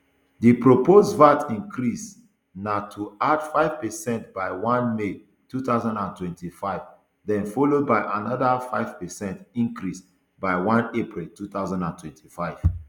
di proposed vat increase na to add five percent by one may two thousand and twenty-fiveden followed by anoda five percent increase by one april two thousand and twenty-five